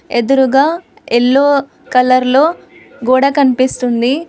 ఎదురుగా yellow colour లో గోడ కనిపిస్తుంది.